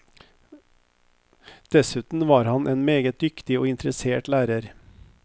Dessuten var han en meget dyktig og interessert lærer.